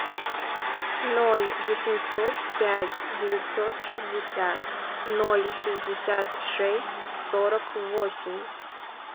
ноль восемьсот пять девятьсот шестьдесят ноль шестьдесят шесть сорок восемь